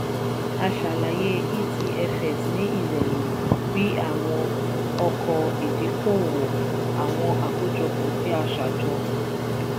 a ṣàlàyé etfs ní ìrọ̀rùn bí àwọn ọkọ̀ ìdíkò-òwò àwọn àkójọpọ̀ tí a ṣajọ.